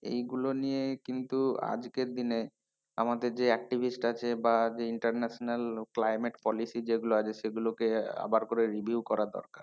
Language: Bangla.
এইগুলো নিয়ে কিন্তু আজকের দিনে আমাদের যে activists আছে বা যে international climate policy যেগুলো আছে সেগুলোকে আবার করে review করার দরকার।